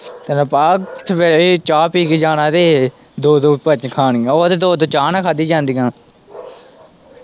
ਤੈਨੂੰ ਪਤਾ ਸਵੇਰੇ ਵੀ ਚਾਹ ਪੀ ਕੇ ਜਾਣਾ ਤੇ ਦੋ-ਦੋ ਖਾਣੀਆਂ ਉਹ ਤੇ ਦੋ-ਦੋ ਚਾਹ ਨਾਲ਼ ਖਾਧੀਆਂ ਜਾਂਦੀਆ।